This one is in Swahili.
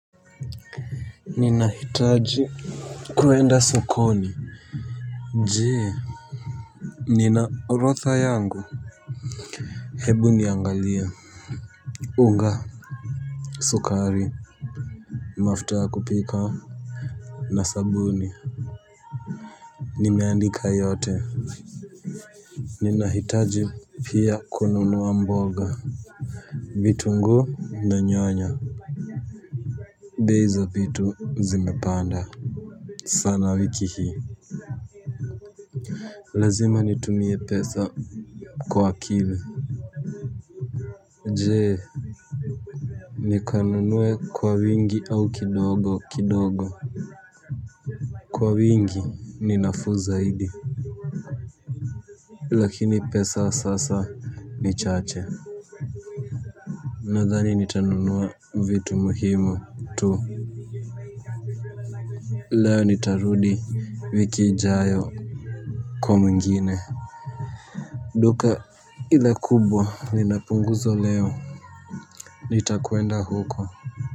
Ninahitaji kuenda sokoni. Jee nina orotha yangu. Hebu niangalie. Unga Sukari Mafuta ya kupika na sabuni. Nimeandika yote. Ninahitaji pia kununua mboga. Vitunguu na nyanya. Bei za vitu zimepanda sana wiki hii. Lazima nitumie pesa kwa akili. Jee nikanunue kwa wingi au kidogo kidogo. Kwa wingi ni nafuu zaidi. Lakini pesa sasa ni chache. Nadhani nitanunua vitu muhimu tu. Leo nitarudi wiki ijayo kwa mwingine. Duka ile kubwa linapunguzwa leo nitakwenda huko.